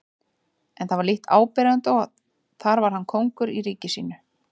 En það var lítt áberandi og þar var hann kóngur í ríki sínu.